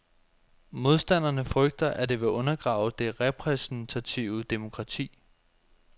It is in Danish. Modstanderne frygter, at det vil undergrave det repræsentative demokrati.